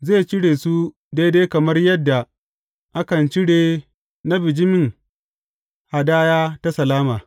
Zai cire su daidai kamar yadda akan cire na bijimin hadaya ta salama.